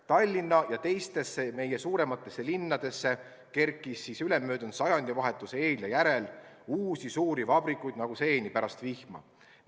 Tallinna ja teistesse meie suurematesse linnadesse kerkis ülemöödunud sajandivahetuse eel ja järel uusi suuri vabrikuid nagu seeni pärast vihma.